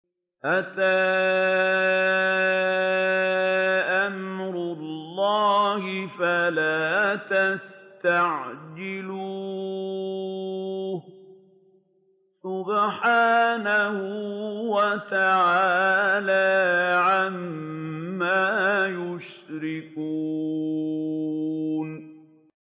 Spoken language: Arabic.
أَتَىٰ أَمْرُ اللَّهِ فَلَا تَسْتَعْجِلُوهُ ۚ سُبْحَانَهُ وَتَعَالَىٰ عَمَّا يُشْرِكُونَ